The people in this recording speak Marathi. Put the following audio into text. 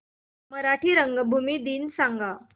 मराठी रंगभूमी दिन सांगा